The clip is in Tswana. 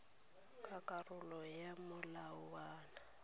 ka karolo ya molawana wa